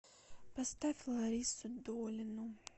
поставь ларису долину